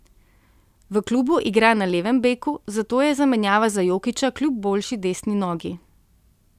V klubu igra na levem beku, zato je zamenjava za Jokića kljub boljši desni nogi.